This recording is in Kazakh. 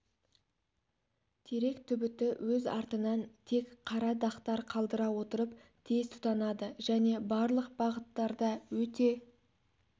терек түбіті өз артынан тек қара дақтар қалдыра отырып тез тұтанады және барлық бағыттарда өте